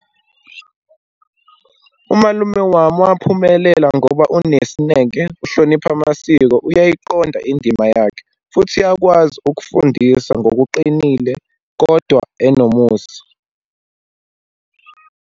Umalume wami waphumelela ngoba unesineke, uhlonipha amasiko, uyayiqonda indima yakhe, futhi uyakwazi ukufundisa ngokuqinile kodwa enomusa.